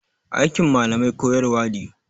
Aikin malamai koyarwa ne.